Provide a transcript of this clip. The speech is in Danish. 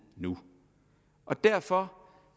nu derfor